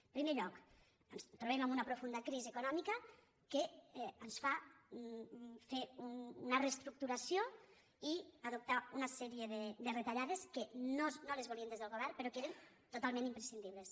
en primer lloc ens trobem en una profunda crisi econòmica que ens fa fer una reestructuració i adoptar una sèrie de retallades que no les volíem des del govern però que eren totalment imprescindibles